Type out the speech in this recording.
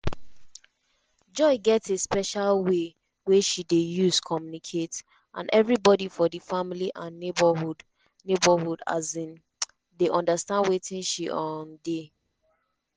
joy get a special way wey she dey use communicate and evri bodi for di family and neighbourhood neighbourhood um dey understand wetin she um dey